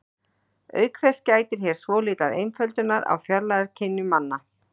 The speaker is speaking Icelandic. Auk þess gætir hér svolítillar einföldunar á fjarlægðarskynjun manna.